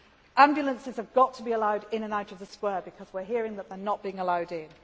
now. Ambulances have to be allowed in and out of the square, because we are hearing that they are not being allowed